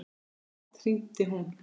Oft hringdi hún.